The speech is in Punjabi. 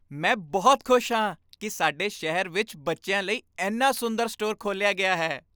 ਮੈਂ ਬਹੁਤ ਖੁਸ਼ ਹਾਂ ਕਿ ਸਾਡੇ ਸ਼ਹਿਰ ਵਿੱਚ ਬੱਚਿਆਂ ਲਈ ਇੰਨਾ ਸੁੰਦਰ ਸਟੋਰ ਖੋਲ੍ਹਿਆ ਗਿਆ ਹੈ।